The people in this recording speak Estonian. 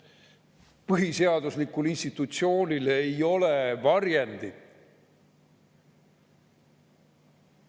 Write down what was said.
Põhiseaduslikul institutsioonil ei ole varjendit.